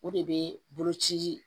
O de bɛ bolo ci